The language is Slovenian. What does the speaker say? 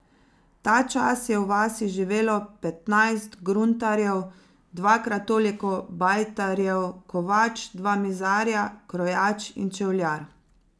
Tačas je v vasi živelo petnajst gruntarjev, dvakrat toliko bajtarjev, kovač, dva mizarja, krojač in čevljar.